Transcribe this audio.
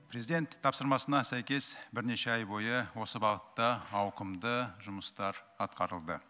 президент тапсырмасына сәйкес бірнеше ай бойы осы бағытта ауқымды жұмыстар атқарылды